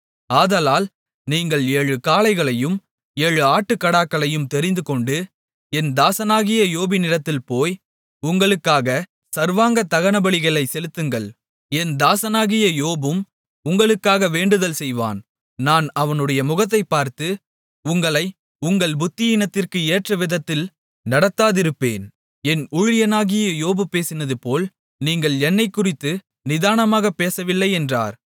ஆதலால் நீங்கள் ஏழு காளைகளையும் ஏழு ஆட்டுக்கடாக்களையும் தெரிந்துகொண்டு என் தாசனாகிய யோபினிடத்தில் போய் உங்களுக்காகச் சர்வாங்க தகனபலிகளைச் செலுத்துங்கள் என் தாசனாகிய யோபும் உங்களுக்காக வேண்டுதல் செய்வான் நான் அவனுடைய முகத்தைப் பார்த்து உங்களை உங்கள் புத்தியீனத்திற்கு ஏற்றவிதத்தில் நடத்தாதிருப்பேன் என் ஊழியனாகிய யோபு பேசினதுபோல் நீங்கள் என்னைக்குறித்து நிதானமாகப் பேசவில்லை என்றார்